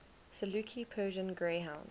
saluki persian greyhound